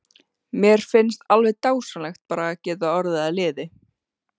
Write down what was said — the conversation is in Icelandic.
Mér finnst alveg dásamlegt bara að geta orðið að liði.